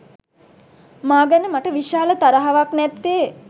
මා ගැන මට විශාල තරහාවක් නැත්තේ